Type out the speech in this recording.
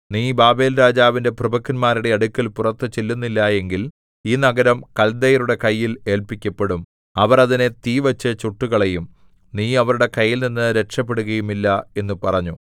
നീ ബാബേൽരാജാവിന്റെ പ്രഭുക്കന്മാരുടെ അടുക്കൽ പുറത്തു ചെല്ലുന്നില്ല എങ്കിൽ ഈ നഗരം കല്ദയരുടെ കയ്യിൽ ഏല്പിക്കപ്പെടും അവർ അതിനെ തീവച്ചു ചുട്ടുകളയും നീ അവരുടെ കൈയിൽനിന്ന് രക്ഷപെടുകയുമില്ല എന്ന് പറഞ്ഞു